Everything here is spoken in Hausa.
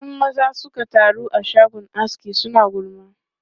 In maza suka taru a shagon aski, suna gulma.